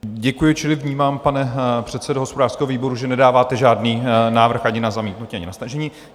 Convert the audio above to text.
Děkuji, čili vnímám, pane předsedo hospodářského výboru, že nedáváte žádný návrh ani na zamítnutí, ani na stažení.